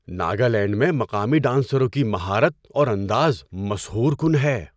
ناگالینڈ میں مقامی ڈانسروں کی مہارت اور انداز مسحور کن ہے۔